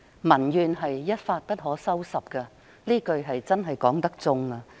民怨一發不可收拾，這是千真萬確的。